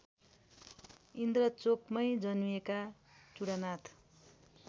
इन्द्रचोकमै जन्मिएका चुडानाथ